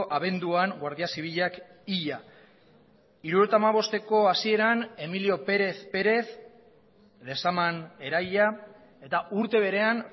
abenduan guardia zibilak hila hirurogeita hamabosteko hasieran emilio pérez pérez lezaman erahila eta urte berean